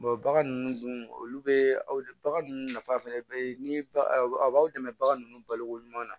bagan ninnu dun olu bɛ bagan ninnu nafa fɛnɛ bɛɛ ye ni aw b'aw dɛmɛ bagan ninnu balo ko ɲuman na